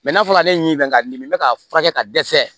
n'a fɔra ale ɲɛ ka dimi be k'a furakɛ ka dɛsɛ